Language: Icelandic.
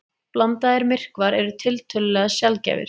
Blandaðir myrkvar eru tiltölulega sjaldgæfir.